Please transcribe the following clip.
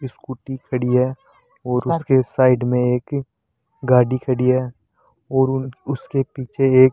scooty खड़ी है और उसके साइड में एक गाड़ी खड़ी है और उन उसके पीछे एक --